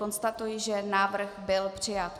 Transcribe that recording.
Konstatuji, že návrh byl přijat.